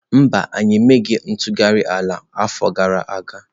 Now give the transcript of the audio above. Mba, anyị emeghị ntụgharị ala n'afọ gara aga.